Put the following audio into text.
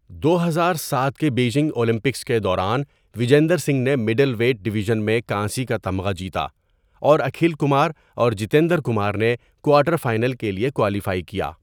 دو ہزار سات کے بیجنگ اولمپکس کے دوران وجیندر سنگھ نے مڈل ویٹ ڈویژن میں کانسی کا تمغہ جیتا، اور اکھل کمار اور جتیندر کمار نے کوارٹر فائنل کے لیے کوالیفائی کیا.